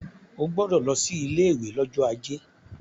O gbọdọ̀ lọ sí ilé ìwé lọ́jọ́ ajé.